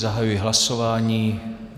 Zahajuji hlasování.